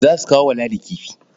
Za su kawo wa Ladi kifi.